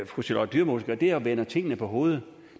fru charlotte dyremose gør er at vende tingene på hovedet